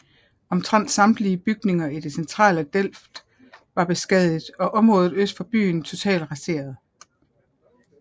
Omtrent samtlige bygninger i det centrale Delft var beskadiget og området øst for byen totalt raseret